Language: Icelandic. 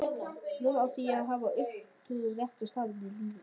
Núna átti ég að hafa uppgötvað rétta staðinn í lífinu.